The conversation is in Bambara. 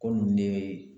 Ko nin de ye